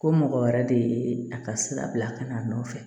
Ko mɔgɔ wɛrɛ de ye a ka sira bila ka na a nɔfɛ